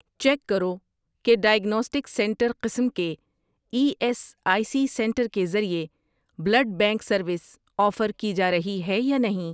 check کرو کہ diagnostic centre قسم کے E S I C centre کے ذریعے بلڈ بینک سروس آفر کی جارہی ہے یا نہیں